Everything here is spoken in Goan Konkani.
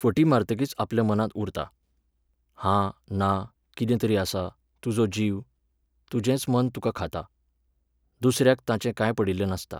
फटी मारतकीच आपल्या मनांत उरता. हा, ना, कितें तरी आसा, तुजो जीव, तुजेंच मन तुका खाता. दुसऱ्याक ताचें काय पडिल्लें नासता.